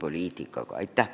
Aitäh!